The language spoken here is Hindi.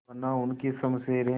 बना उनकी शमशीरें